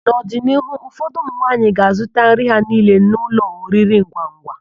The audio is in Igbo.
N'ọdịnihu, ụfọdụ ụmụnwaanyị ga azụta nri ha niile n'ụlọ oriringwangwa.